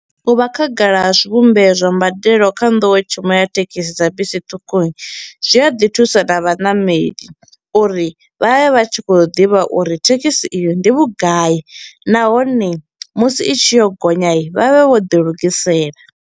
U vha khagala ha zwivhumbeo zwa mbadelo kha nḓowetshumo ya thekhisi dza bisi ṱhukhu i, zwi a ḓi thusa na vhanameli uri vha vhe vha tshi kho u ḓivha uri thekhisi iyo ndi vhugai nahone musi i tshi yo gonya vha vhe vho ḓilugisela.